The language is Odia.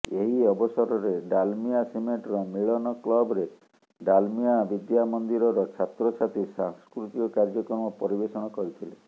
ଏହି ଅବସରରେ ଡାଲମିଆ ସିମେଣ୍ଟର ମିଳନ କ୍ଲବରେ ଡାଲମିଆ ବିଦ୍ୟାମନ୍ଦିରର ଛାତ୍ରଛାତ୍ରୀ ସାଂସ୍କୃତିକ କାର୍ଯ୍ୟକ୍ରମ ପରିବେଷଣ କରିଥିଲେ